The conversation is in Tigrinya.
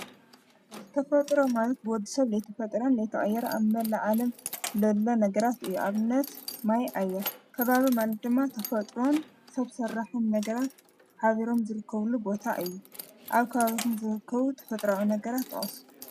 ዘተፈጥሮ ማለት ብወዲ ሰብ ልቲ ፈጥረን ለተኣየረ ኣብ መላ ዓለም ለሎ ነገራት እዩ ።ኣብነት ማይ ኣያት ከባብ ማል ድማ ተፈጥረን ሰብ ሠራሕን ነገራት ሃቢሮም ዘርከብሉ ቦታ እዩ ኣብ ካባብትን ዘርከቡ ተፈጥራዊ ነገራት እዮም።